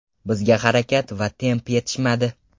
Bizga harakat va temp yetishmadi.